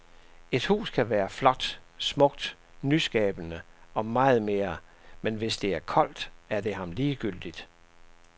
Et hus kan være flot, smukt, nyskabende og meget mere, men hvis det er koldt, er det ham ligegyldigt.